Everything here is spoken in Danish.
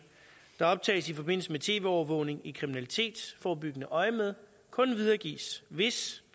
der optages i forbindelse med tv overvågning i kriminalitetsforebyggende øjemed kun videregives hvis